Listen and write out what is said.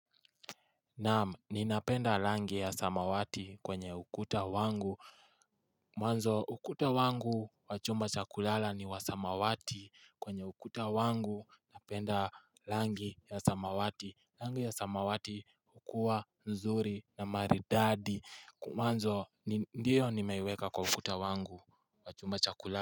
Naam, ninapenda rangi ya samawati kwenye ukuta wangu, mwanzo ukuta wangu wachumba chakulala ni wasamawati kwenye ukuta wangu, napenda rangi ya samawati, rangi ya samawati hukua nzuri na maridadi, mwanzo ndiyo nimeweka kwa ukuta wangu wa chumba cha kulala.